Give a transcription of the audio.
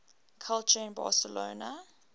culture in barcelona